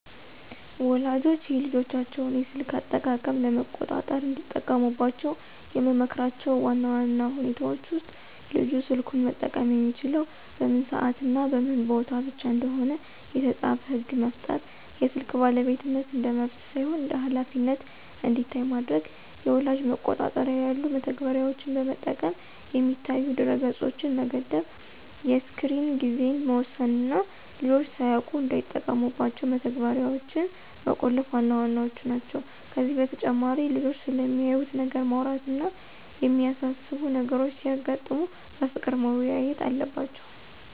ወላጆች የልጆቻቸውን የስልክ አጠቃቀም ለመቆጣጠር እንዲጠቀሙባቸው የምመክራቸው ዋና ዋና ሁኔታዎች ውስጥ፦ ልጁ ስልኩን መጠቀም የሚችለው በምን ሰዓትና በምን ቦታ ብቻ እንደሆነ የተጻፈ ሕግ መፍጠር፣ የስልክ ባለቤትነት እንደ መብት ሳይሆን እንደ ኃላፊነት እንዲታይ ማድረግ፣ የወላጅ መቆጣጠሪያ ያሉ መተግበሪያዎችን በመጠቀም የሚታዩ ድረ-ገጾችን መገደብ፣ የስክሪን ጊዜን መወሰን እና ልጆች ሳያውቁት እንዳይጠቀሙባቸው መተግበሪያዎችን መቆለፍ ዋና ዋናዎቹ ናቸው። ከዚህ በተጨማሪ ልጆቹ ስለሚያዩት ነገር ማውራት እና የሚያሳስቡ ነገሮች ሲያጋጥሙ በፍቅር መወያየት አለባቸው።